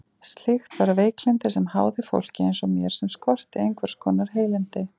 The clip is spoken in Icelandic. Slíkt var veiklyndi sem háði fólki eins og mér sem skorti einhvers konar heilindi.